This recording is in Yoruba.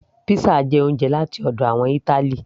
pizza jẹ oúnjẹ láti ọ̀dọ̀ àwọn ìtali